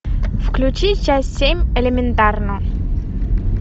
включи часть семь элементарно